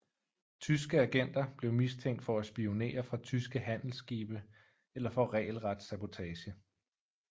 Tyske agenter blev mistænkt for at spionere fra tyske handelsskibe eller for regelret sabotage